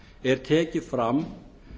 er tekið fram